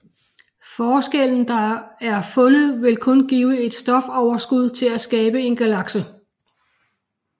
Forskellen der er fundet vil kun give et stofoverskud til at skabe en galakse